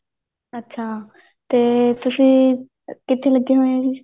ਅੱਛਾ ਤੇ ਤੁਸੀਂ ਕਿੱਥੇ ਲੱਗੇ ਹੋਏ ਓ ਜੀ